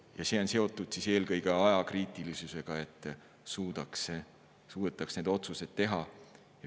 Ja see on seotud eelkõige ajakriitilisusega, et suudetaks neid otsuseid kiiresti teha.